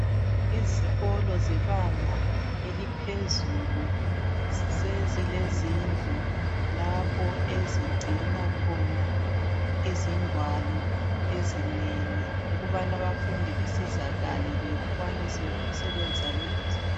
Izikolo zebanga eliphezulu sezilezindlu lapho ezigcina khona izingwalo ezinengi .Ukubana abafundi besizakale bekwanise ukusebenzisa lezo zingwalo.